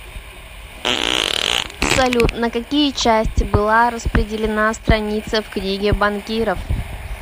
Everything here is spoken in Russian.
салют на какие части была распределена страница в книге банкиров